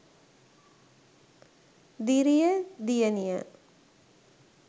driya deyaniya